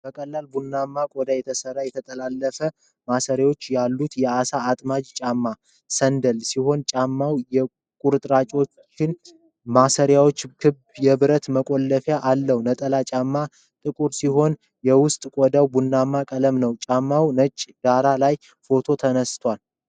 በቀላል ቡናማ ቆዳ የተሰራ፣ የተጠላለፉ ማሰሪያዎች ያሉት የዓሣ አጥማጅ ጫማ (ሳንዳል) ሲሆን ጫማው የቁርጭምጭሚት ማሰሪያና ክብ የብረት መቆለፊያ አለው። ነጠላ ጫማው ጥቁር ሲሆን የውስጥ ቆዳው ቡናማ ቀለም ነው። ጫማው ነጭ ዳራ ላይ ፎቶ ተነስቷል።